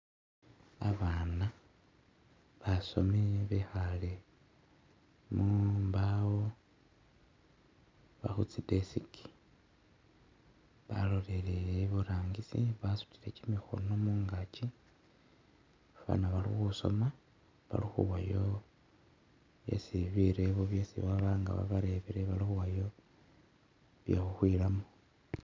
Abana basoomi bekhale khumbawo oba khutsi desk balolelele iburangisi basutile kimikhono mungakyi nga balikhusoma balikhuwayo isi birebo byesi baba nga babarebile balikhuwayo shekhukhwilamo